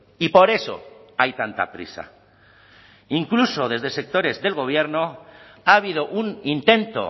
y por eso hay tanta prisa incluso desde sectores del gobierno ha habido un intento